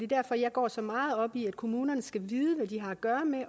derfor jeg går så meget op i at kommunerne skal vide hvad de har at gøre med og